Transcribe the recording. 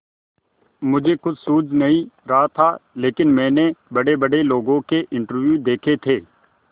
मुझे कुछ सूझ नहीं रहा था लेकिन मैंने बड़ेबड़े लोगों के इंटरव्यू देखे थे